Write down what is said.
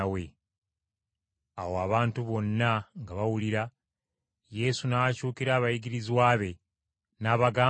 Awo abantu bonna nga bawulira, Yesu n’akyukira abayigirizwa be n’abagamba nti,